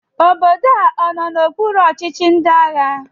Obodo a ọ nọ n'okpuru ọchịchị ndị agha?